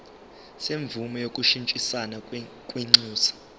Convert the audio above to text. semvume yokushintshisana kwinxusa